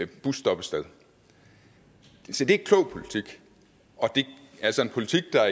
busstoppested se det er klog politik og det er altså en politik der